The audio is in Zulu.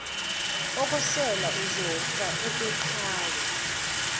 okwesela uzofa okweqhawe